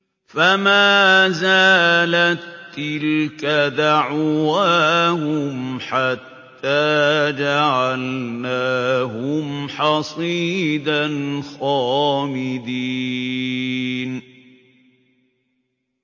فَمَا زَالَت تِّلْكَ دَعْوَاهُمْ حَتَّىٰ جَعَلْنَاهُمْ حَصِيدًا خَامِدِينَ